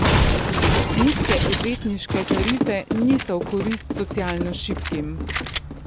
Nizke odvetniške tarife niso v korist socialno šibkim.